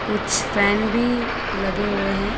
कुछ फैन भी लगे हुए हैं।